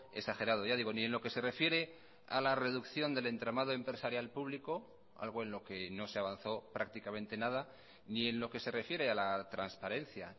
exagerado ya digo ni en lo que se refiere a la reducción del entramado empresarial público algo en lo que no se avanzó prácticamente nada ni en lo que se refiere a la transparencia